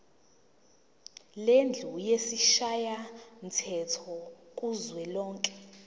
lendlu yesishayamthetho kuzwelonke